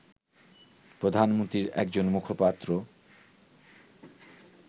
প্রধানমন্ত্রীর একজন মুখপাত্র